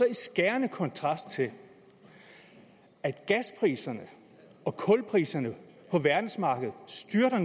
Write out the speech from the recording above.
i skærende kontrast til at gaspriserne og kulpriserne på verdensmarkedet styrter